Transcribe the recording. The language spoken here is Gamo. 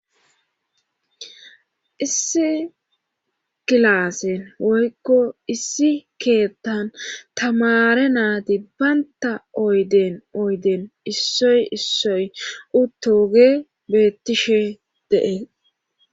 issi gilaasen woykko issi keettan tamare naati baynta oyden oyden issoy issoy uttooge beettishe dee